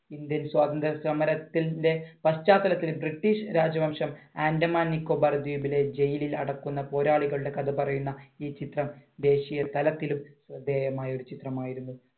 Indian സ്വാതന്ത്ര്യ സമരത്തിന്‍റെ പശ്ചാത്തലത്തിൽ ബ്രിട്ടീഷ് രാജവംശം ആൻഡമാൻ നിക്കോബാർ ദ്വീപിലെ jail ൽ അടയ്ക്കുന്ന പോരാളികളുടെ കഥ പറയുന്ന ഈ ചിത്രം ദേശീയതലത്തിലും ശ്രദ്ധേയമായ ഒരു ചിത്രമായിരുന്നു.